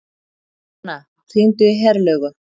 Mona, hringdu í Herlaugu.